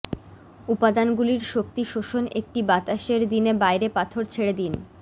উপাদানগুলির শক্তি শোষণ একটি বাতাসের দিনে বাইরে পাথর ছেড়ে দিন